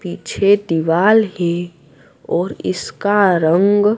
पीछे दिवाल हैं और इसका रंग--